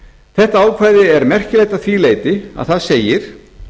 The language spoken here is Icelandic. þetta ákvæði er merkilegt að því leyti að þar segir